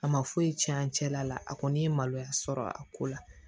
A ma foyi tiɲɛ an cɛla la a kɔni ye maloya sɔrɔ a ko la